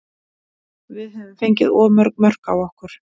Við höfum fengið of mörg mörk á okkur.